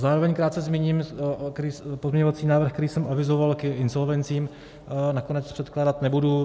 Zároveň krátce zmíním - pozměňovací návrh, který jsem avizoval k insolvencím, nakonec předkládat nebudu.